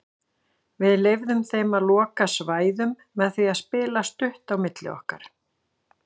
Við leyfðum þeim að loka svæðum með því að spila stutt á milli okkar.